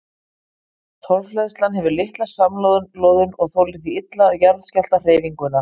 Torfhleðslan hefur litla samloðun og þolir því illa jarðskjálftahreyfinguna.